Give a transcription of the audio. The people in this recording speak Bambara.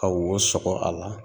Ka wo sɔgɔ a la